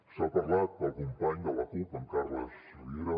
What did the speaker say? s’ha parlat pel company de la cup en carles riera